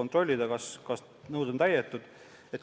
kontrollida, kas nõuded on täidetud.